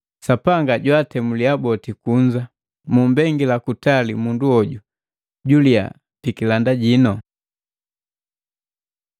Sapanga jantemuliya boti kunza. Mumbengila kutali mundu hoju juliya pikilanda jinu.